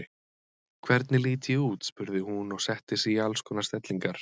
Hvernig lít ég út? spurði hún og setti sig í alls konar stellingar.